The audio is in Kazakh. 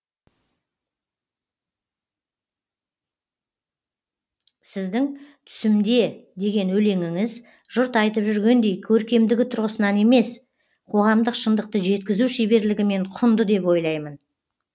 сіздің түсімде деген өлеңіңіз жұрт айтып жүргендей көркемдігі тұрғысынан емес қоғамдық шындықты жеткізу шеберлігімен құнды деп ойлаймын